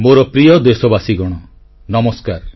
ମୋର ପ୍ରିୟ ଦେଶବାସୀଗଣ ନମସ୍କାର